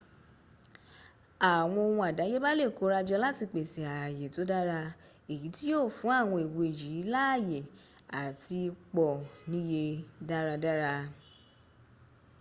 àwọn ohun àdáyébá lè kórajọ láti pèsè ààyè tó dára èyí tí yíó fún àwọn ewé yìí láàyè àti pọ̀ níye dáradára